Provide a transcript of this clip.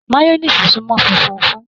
Mayọniisi sunmọ fúnfún fún